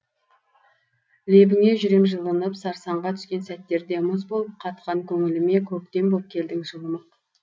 лебіңе жүрем жылынып сарсаңға түскен сәттерде мұз болып қатқан көңіліме көктем боп келдің жылымық